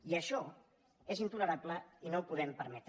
i això és intolerable i no ho podem permetre